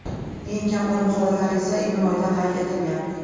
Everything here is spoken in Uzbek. Eng kam o‘lim holatlari esa iyun oyida qayd etilgan.